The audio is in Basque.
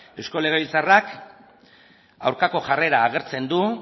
eusko legebiltzarrak aurkako jarrera agertzen du